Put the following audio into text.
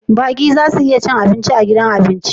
Baƙi za su iya cin abinci a gidan abinci